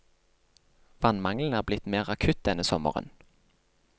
Vannmangelen er blitt mer akutt denne sommeren.